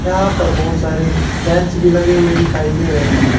यहां पर बहुत सारे बेंच भी लगे हुए दिखाई दे रहे हैं।